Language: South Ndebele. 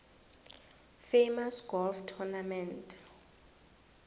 famous golf tournament